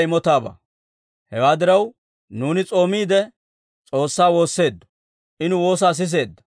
Hewaa diraw, nuuni s'oomiide, S'oossaa woosseeddo; I nu woosaa siseedda.